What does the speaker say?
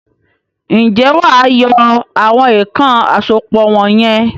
Ǹjẹ́wà á yọ àwọn èèkàn àsopọ̀ wọ̀n yẹn?